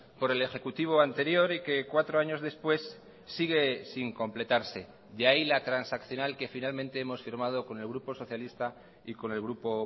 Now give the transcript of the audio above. por el ejecutivo anterior y que cuatro años después sigue sin completarse de ahí la transaccional que finalmente hemos firmado con el grupo socialista y con el grupo